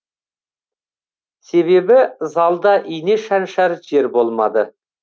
себебі залда ине шаншар жер болмады